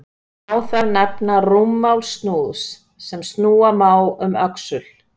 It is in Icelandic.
Má þar nefna rúmmál snúðs, sem snúa má um öxul.